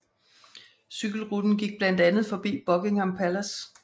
Cykelruten gik blandt andet forbi Buckingham Palace